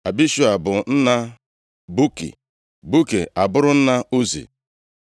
Abishua bụ nna Buki, Buki abụrụ nna Uzi.